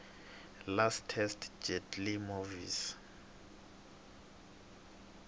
lastest jet lee movies